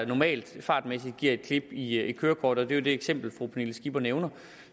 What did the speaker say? normalt fartmæssigt giver et klip i kørekortet og det er jo det eksempel fru pernille skipper nævner